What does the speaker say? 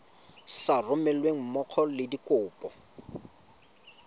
sa romelweng mmogo le dikopo